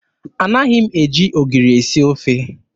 Anaghị m eji ogiri esi ofe.